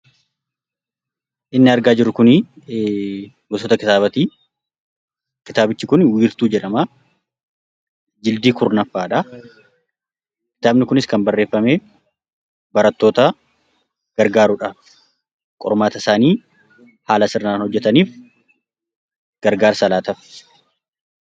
Inni argaa jirru kun gosoota kitaabaati. Kitaabichi kun wiirtuu jedhama. Jildii 10ffaadha. Kitaabni kunis kan barreeffame barattoota gargaaruudhaaf qormaatasaanii haala sirriin hojjatanii gargaarsa laataaf